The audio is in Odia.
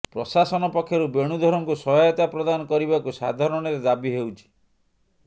ପ୍ରଶାସନ ପକ୍ଷରୁ ବେଣୁଧରଙ୍କୁ ସହାୟତା ପ୍ରଦାନ କରିବାକୁ ସାଧାରଣରେ ଦାବି ହୋଇଛି